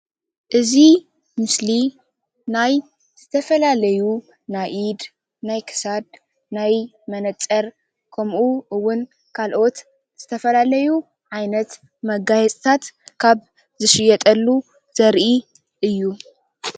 እዚ ምስሊ ናይ ዝተፈላለዩ ናይ ኢድ፣ ናይ ክሳድ፣ ናይ መነፀር ከመኡ'ውን ካልኦት ዝተፈላለዩ ዓይነት መጋየፅታት ዝሽየጠሉ ዘርኢ እዩ።